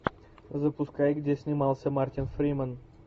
запускай где снимался мартин фримен